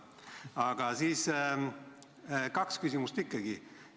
Aga kaks küsimust ikkagi.